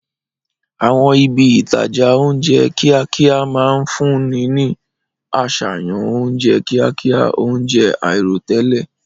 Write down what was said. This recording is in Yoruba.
Àwọn ibi ìtajà oúnjẹ kíákíá máa ń fúnni ní àṣàyàn oúnjẹ kíákíá, oúnjẹ àìròtẹ́lẹ̀.